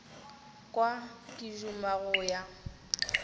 kwa ke duma go ya